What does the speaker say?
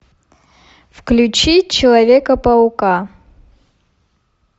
включи человека паука